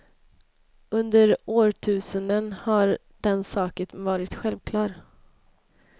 Under årtusenden har den saken varit självklar.